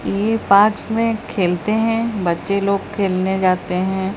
यह पार्क में खेलते हैं बच्चे लोग खेलने जाते हैं।